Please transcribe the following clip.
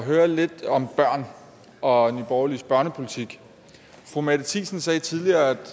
høre lidt om børn og borgerliges børnepolitik fru mette thisen sagde tidligere